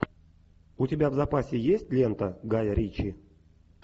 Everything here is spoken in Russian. у тебя в запасе есть лента гая ричи